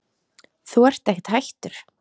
Þú ert ekkert hættur?